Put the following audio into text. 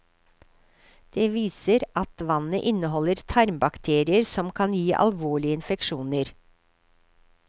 De viser at vannet inneholder tarmbakterier som kan gi alvorlige infeksjoner.